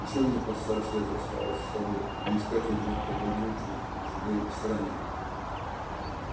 нечего мне под старость лет расставаться с тобою да искать одинокой могилы на чужой стороне